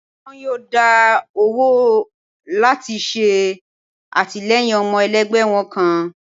wọn yóò dá owó lati ṣe atilẹyin ọmọ elẹgbẹ wọn kán